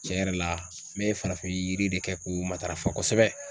Tiɲɛ yɛrɛ la ne farafin yiri de kɛ k'u matarafa kosɛbɛ.